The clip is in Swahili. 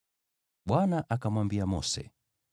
Bwana akamwambia Mose,